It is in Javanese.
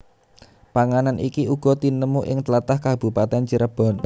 Panganan iki uga tinemu ing tlatah Kabupatèn Cirebon